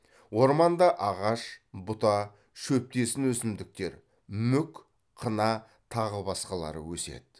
орманда ағаш бұта шөптесін өсімдіктер мүк қына тағы басқалары өседі